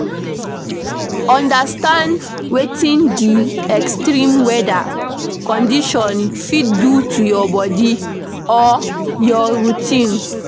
Understand wetin di extreme weather condition fit do to your body or your routine